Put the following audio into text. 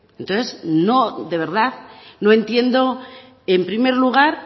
entonces de verdad no entiendo en primer lugar